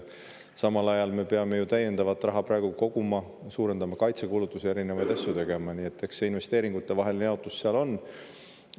Samal ajal me peame ju praegu täiendavat raha koguma, suurendama kaitsekulutusi, erinevaid asju tegema, nii et eks investeeringutevaheline jaotus.